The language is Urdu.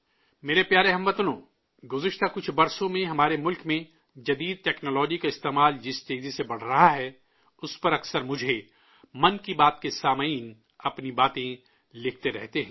میرے پیارے ہم وطنو، گزشتہ کچھ برسوں میں ہمارے ملک میں جدید ٹیکنالوجی کا استعمال جس تیزی سے بڑھ رہا ہے، اس پر اکثر مجھے 'من کی بات' کے سامعین اپنی باتیں لکھتے رہتے ہیں